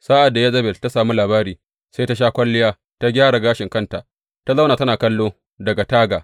Sa’ad da Yezebel ta sami labari, sai ta sha kwalliya ta gyara gashin kanta, ta zauna tana kallo daga taga.